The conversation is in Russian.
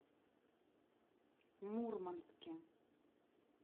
мурманске